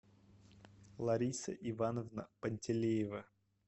лариса ивановна пантелеева